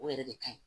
O yɛrɛ de kaɲi